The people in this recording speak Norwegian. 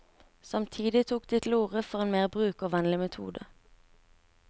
Samtidig tok de til orde for en mer brukervennlig metode.